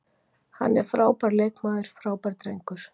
Hann er frábær leikmaður, frábær drengur.